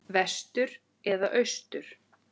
Vestur eða austur?